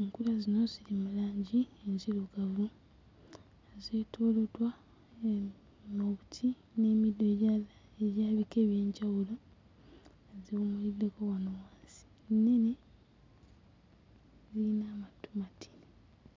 Enkula zino ziri mu langi enzirugavu nga zeetooloddwa uh obuti n'emiddo egya egy'ebika eby'enjawulo nga ziwummuddeko wansi naye ziyina omutunti.